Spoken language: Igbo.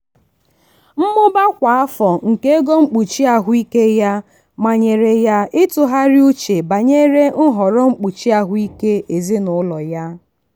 mmụba kwa afọ nke ego mkpuchi ahụike ya manyere ya ịtụgharị uche banyere nhọrọ mkpuchi ahụike ezinụlọ ya.